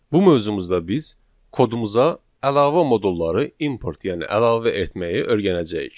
Bu mövzumuzda biz kodumuza əlavə modulları import, yəni əlavə etməyi öyrənəcəyik.